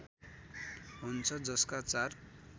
हुन्छ जसका चार